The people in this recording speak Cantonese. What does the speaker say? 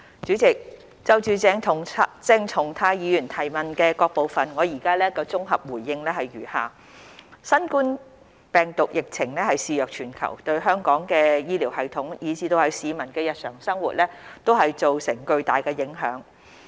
主席，就鄭松泰議員質詢的各部分，我現綜合回覆如下：新冠病毒疫情肆虐全球，對香港的醫療系統以至市民的日常生活造成巨大影響。